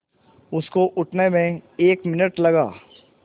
उसको उठने में एक मिनट लगा